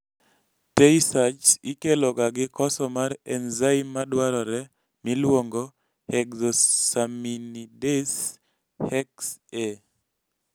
tay sachs ikeloga gi koso mar enzyme madwarore miluongoni hexosaminidase(hex A)